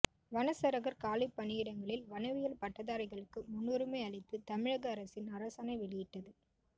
வனச்சரகர் காலிப்பணியிடங்களில் வனவியல் பட்டதாரிகளுக்கு முன்னுரிமை அளித்து தமிழக அரசின் அரசாணை வெளியிட்டது